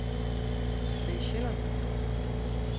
Seychellerne